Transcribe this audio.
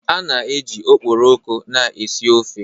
A na-eji okporoko na-esi ofe.